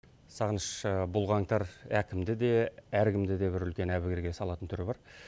сағыныш бұл қаңтар әкімді де әркімді де бір үлкен әбігерге салатын түрі бар